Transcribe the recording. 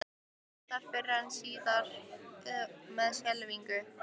Það endar fyrr eða síðar með skelfingu.